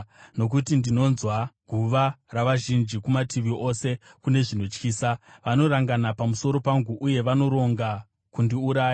nokuti ndinonzwa guhwa ravazhinji; kumativi ose kune zvinotyisa; vanorangana pamusoro pangu uye vanoronga kundiuraya.